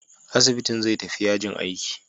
Asibitin zai tafi yajin aiki.